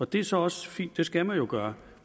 det er så også fint det skal man jo gøre